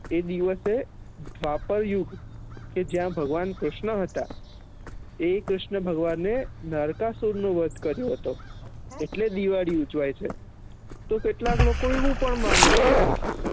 એ દિવશે દ્વાપર યુગ કે જ્યાં ભગવાન કૃષ્ણ હતા એ કૃષ્ણ ભગવાને નાર્કાઅશુર નુ વધ કર્યું હતો એટલે દિવાળી ઉજવાય છે તો કેટલાક લોકો એવું પણ મને છે